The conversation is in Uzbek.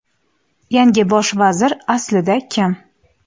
Yangi Bosh vazir aslida kim?.